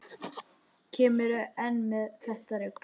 Kemurðu enn með þetta rugl!